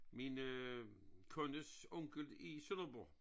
Min øh kundes onkel i Sønderborg